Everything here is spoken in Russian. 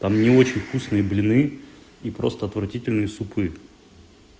там не очень вкусные блины и просто отвратительный супы